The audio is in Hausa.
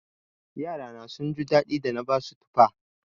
Yarana sun ji daɗi da na basu tufa.